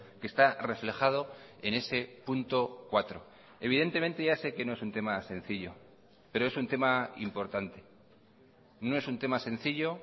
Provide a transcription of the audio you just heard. que está reflejado en ese punto cuatro evidentemente ya se que no es un tema sencillo pero es un tema importante no es un tema sencillo